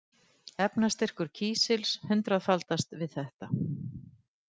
Efnastyrkur kísils hundraðfaldast við þetta.